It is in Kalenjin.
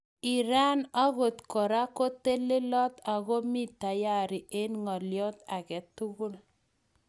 Iran akotbkora ko telelot ak komi tayari eng ng'olio ake tugul